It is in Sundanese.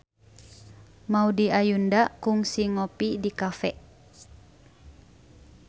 Maudy Ayunda kungsi ngopi di cafe